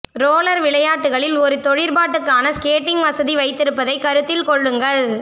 roller விளையாட்டுகளில் ஒரு தொழிற்பாட்டுக்கான ஸ்கேட்டிங் வசதி வைத்திருப்பதைக் கருத்தில் கொள்ளுங்கள்